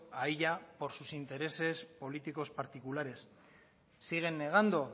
a ella por sus intereses políticos particulares siguen negando